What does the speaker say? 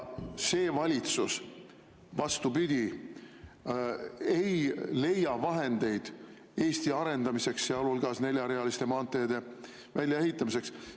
See valitsus, vastupidi, ei leia vahendeid Eesti arendamiseks, sealhulgas neljarealiste maanteede väljaehitamiseks.